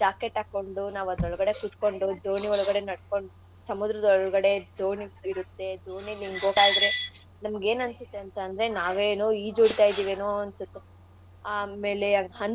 jacket ಆಕ್ಕೊಂಡು ನಾವದ್ರೊಳ್ಗಡೆ ಕೂತ್ಕೊಂಡು ದೋಣಿ ಒಳಗಡೆ ನಡ್ಕೊಂಡ್ ಸಮುದ್ರದ್ ಒಳ್ಗಡೆ ದೋಣಿ ಇರುತ್ತೆ ದೋಣಿಲಿಂಗ್ ಹೋಗ್ತಾ ಇದ್ರೆ ನಮ್ಗೇನ್ ಅನ್ಸತ್ತೆ ಅಂತ ಅಂದ್ರೆ ನಾವೇ ಏನೋ ಈಜ್ ಒಡಿತಾ ಇದೀವೇನೋ ಅಂತ ಅನ್ಸತ್ತೆ ಆಮೇಲೆ ಅಂತೂ.